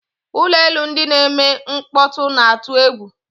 Ụgbọ elu ndị na-eme mkpọtụ na-atụ egwu.